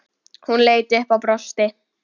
Hún leit upp og brosti.